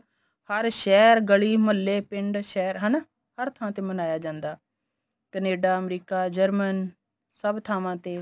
ਹਰ ਸ਼ਹਿਰ ਗਲੀ ਮਹੱਲੇ ਪਿੰਡ ਸ਼ਹਿਰ ਹਨਾ ਹਰ ਥਾ ਤੇ ਮਨਾਇਆ ਜਾਂਦਾ ਕੈਨੇਡਾ ਅਮਰੀਕਾ ਜਰਮਨ ਸਭ ਥਾਵਾਂ ਤੇ